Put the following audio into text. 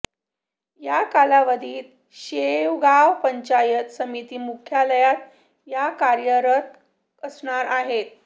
याकालावधीत शेवगाव पंचायत समिती मुख्यालयात त्या कार्यरत असणार आहे